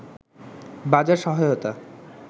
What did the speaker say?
বাজার সহায়তা